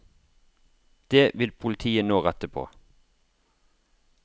Det vil politiet nå rette på.